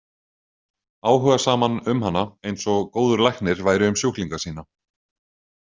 Áhugasaman um hana, eins og góður læknir væri um sjúklinga sína.